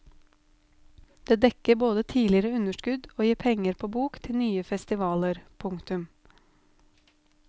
Det dekker både tidligere underskudd og gir penger på bok til nye festivaler. punktum